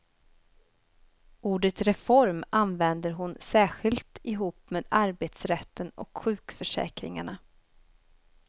Ordet reform använder hon särskilt ihop med arbetsrätten och sjukförsäkringarna.